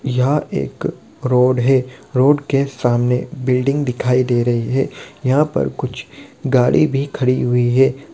यह एक रोड है रोड के सामने बिल्डिंग दिखाई दे रही है| यहां पर कुछ गाड़ी भी खड़ी हुई है ।